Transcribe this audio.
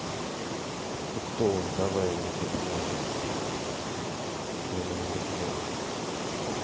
ну кто он давай мы тебе поможем мы ему намекнём